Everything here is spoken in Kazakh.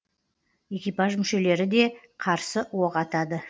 экипаж мүшелері де қарсы оқ атады